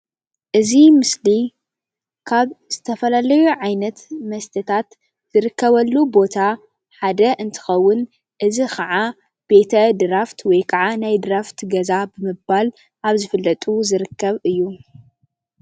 እዚ ምስሊ ካብ ዝተፈላለዩ ዓይነት መስተታት ዝርከበሉ ቦታ ሓደ እንትኸውን እዚ ኸዓ ቤተ ድራፍት ወይ ኸዓ ናይ ድራፍት ገዛ ብምባል ኣብ ዝፍለጡ ዝርከብ እዩ።